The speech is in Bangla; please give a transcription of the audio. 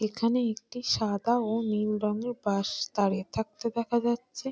এখানে একটি সাদা ও নীল রঙের বাস দাঁড়িয়ে থাকতে দেখা যাচ্ছে ।